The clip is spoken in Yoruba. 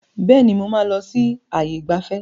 Bẹ́ẹ̀ni, mo máa lọ sí ààyè ìgbafẹ́.